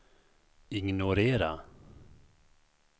ignorera